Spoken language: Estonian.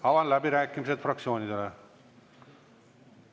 Avan läbirääkimised fraktsioonidele.